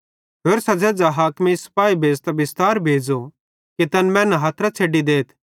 होरसां झ़ेझ़ हाकिमेइं सिपाही भेज़तां बिस्तार भेज़ो कि तैन मैनन् हथरां छ़ैडी देथ